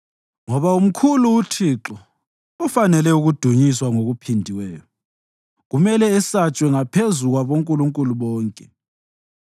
Ngoba umkhulu uThixo, ufanele ukudunyiswa ngokuphindiweyo; kumele esatshwe ngaphezu kwabonkulunkulu bonke.